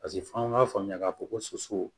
Paseke f'an k'a faamuya k'a fɔ ko soso